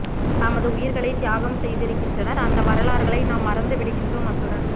தமது உயிர்களை தியாகம் செய்திருக்கின்றனர் அந்த வரலாறுகளை நாம் மறந்து விடுகின்றோம் அத்துடன்